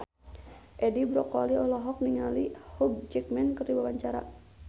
Edi Brokoli olohok ningali Hugh Jackman keur diwawancara